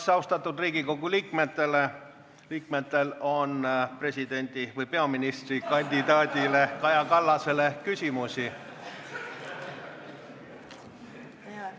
Kas austatud Riigikogu liikmetel on presidendi... või peaministrikandidaat Kaja Kallasele küsimusi?